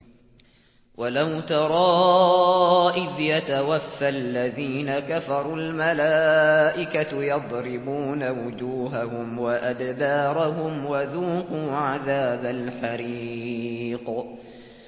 وَلَوْ تَرَىٰ إِذْ يَتَوَفَّى الَّذِينَ كَفَرُوا ۙ الْمَلَائِكَةُ يَضْرِبُونَ وُجُوهَهُمْ وَأَدْبَارَهُمْ وَذُوقُوا عَذَابَ الْحَرِيقِ